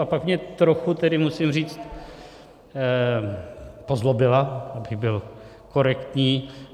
A pak mě trochu tedy, musím říct... pozlobila, abych byl korektní.